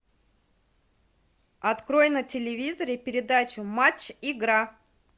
открой на телевизоре передачу матч игра